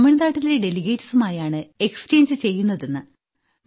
തമിഴ്നാട്ടിലെ ഡെലിഗേറ്റ്സ് മായാണ് എക്സ്ചേഞ്ച് ചെയ്യുന്നത് എന്ന്